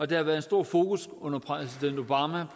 der været et stort fokus